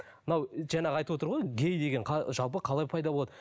мынау жаңағы айтып отыр ғой гей деген жалпы қалай пайда болады